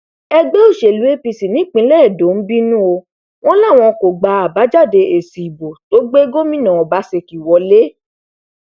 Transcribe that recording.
ẹgbẹ òsèlú apc nípínlẹ edo ń bínú o wọn láwọn kò gba àbájáde èsì ìbò tó gbé gómìnà ọbaṣẹkí wọlẹ